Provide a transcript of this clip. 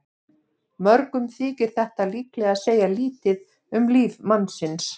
Mörgum þykir þetta líklega segja lítið um líf mannsins.